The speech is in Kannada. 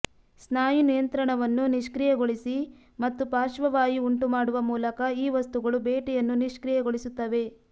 ಸ್ನಾಯು ನಿಯಂತ್ರಣವನ್ನು ನಿಷ್ಕ್ರಿಯಗೊಳಿಸಿ ಮತ್ತು ಪಾರ್ಶ್ವವಾಯು ಉಂಟುಮಾಡುವ ಮೂಲಕ ಈ ವಸ್ತುಗಳು ಬೇಟೆಯನ್ನು ನಿಷ್ಕ್ರಿಯಗೊಳಿಸುತ್ತವೆ